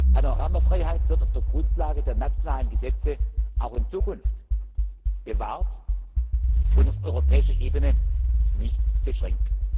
Panoramafreiheit wird auf der Grundlage der nationalen Gesetze auch in Zukunft bewahrt und auf europäischer Ebene nicht beschränkt.